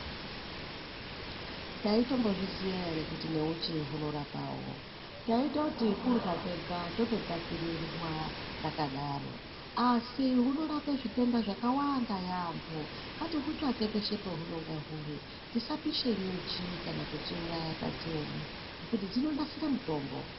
Taitombozviziya ere kuti neuchi hunorapawo, taitoti kudyra kwega tototapirirwa takadaro. Asi hunorapa zvitenda zvakawanda yaamho. Ngatihutsvake peshe pahunenge huri, tisapisha nyuchi kana kudziuraya tadziona ngekuti dzinonadzira mutombo.